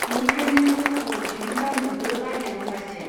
बिनिखायनो जौखौ दिहुन दावनोबो बायो रम्बासीया